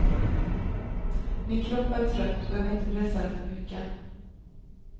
Min kropp är trött och jag vill inte pressa den för mycket.